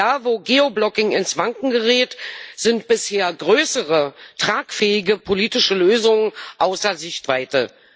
Da, wo Geoblocking ins Wanken gerät, sind bisher größere tragfähige politische Lösungen außer Sichtweite.